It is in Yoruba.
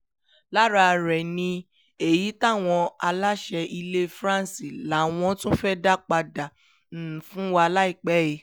lára rẹ̀ ni èyí táwọn aláṣẹ ilẹ̀ france làwọn tún fẹ́ẹ́ dá padà fún wa láìpẹ́ yìí